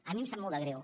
a mi em sap molt de greu